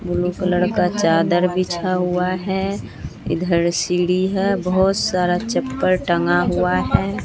Blue colour का चादर बिछा हुआ है इधर सीढी है बहोत सारा चप्पल टंगा हुआ है।